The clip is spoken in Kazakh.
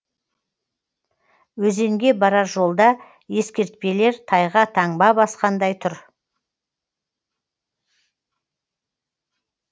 өзенге барар жолда ескертпелер тайға таңба басқандай тұр